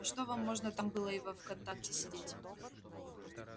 а что вам можно там было и во вконтакте сидеть